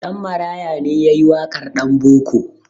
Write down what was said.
Ɗanmaraya ne ya yi waƙar "Ɗanboko".